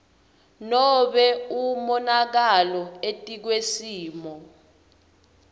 nobe umonakalo etikwesimo